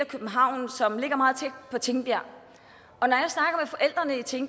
københavn som ligger meget tæt på tingbjerg og når